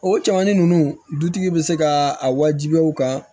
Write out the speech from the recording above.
O cɛmannin ninnu dutigi bɛ se ka a wajibiya u kan